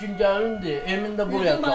Emin də buraya çağırıb.